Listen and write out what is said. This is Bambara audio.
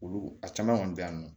Olu a caman kɔni bɛ yan nɔ